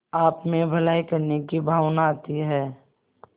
आपमें भलाई करने की भावना आती है